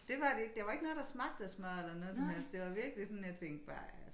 Dét var det ikke der var ikke noget der smagte af smør eller noget som helst det var virkelig sådan jeg tænkte bare altså